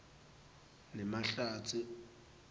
nemahlatsi